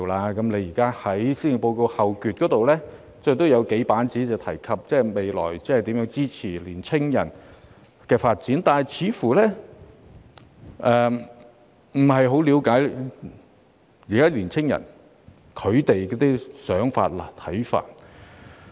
行政長官在施政報告後部分用數頁的篇幅來闡述未來如何支持年輕人發展，但她似乎不太了解當今年輕人的想法和看法。